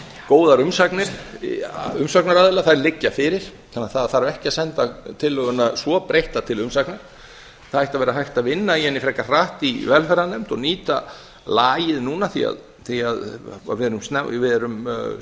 góðar umsagnir umsagnaraðila þær liggja fyrir þannig að það þarf ekki að senda tillöguna svo breytta til umsagna það ætti að vera hægt að vinna í henni frekar hratt í velferðarnefnd og nýta lagið núna því að við erum